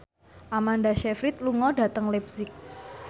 Amanda Sayfried lunga dhateng leipzig